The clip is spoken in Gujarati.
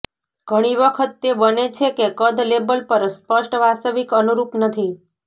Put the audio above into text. ઘણી વખત તે બને છે કે કદ લેબલ પર સ્પષ્ટ વાસ્તવિક અનુરૂપ નથી